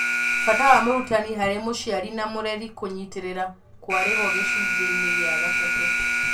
Bata wa mũrutani harĩ mũciari na mũreri kũnyitĩrĩra kwarĩho gĩcunjĩinĩ gĩa gatatũ.